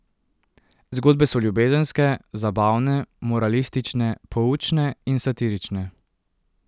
Zgodbe so ljubezenske, zabavne, moralistične, poučne in satirične.